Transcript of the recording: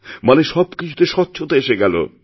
মানে সবকিছুতে স্বচ্ছতাএসে গেল